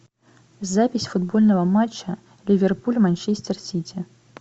запись футбольного матча ливерпуль манчестер сити